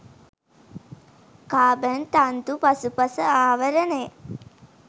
carbon තන්තු පසුපස ආවරණය